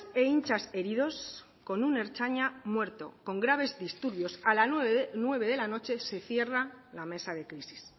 e hinchas heridos con un ertzaina muerto con graves disturbios a las nueve de la noche se cierra la mesa de crisis